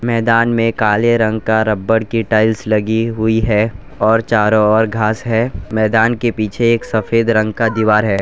मैदान में काले रंग का रबर की टाइल्स लगी हुई है और चारों ओर घास है। मैदान के पीछे एक सफेद रंग का दीवार है।